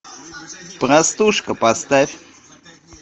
простушка поставь